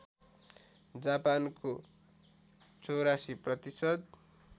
जापानको ८४ प्रतिशत